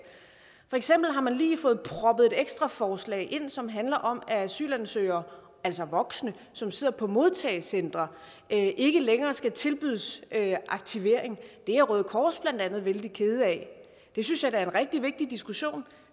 for eksempel har man lige fået proppet et ekstra forslag ind som handler om at asylansøgere altså voksne som sidder på modtagecentre ikke længere skal tilbydes aktivering det er røde kors blandt andet vældig kede af det synes jeg da er en rigtig vigtig diskussion